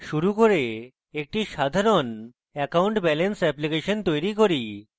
শুরু করে একটি সাধারণ account balance অ্যাপ্লিকেশন তৈরী করি